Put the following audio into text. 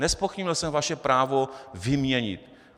Nezpochybnil jsem vaše právo vyměnit!